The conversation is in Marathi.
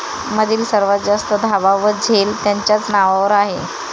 मधील सर्वात जास्त धावा व झेल त्यांच्याच नावावर आहे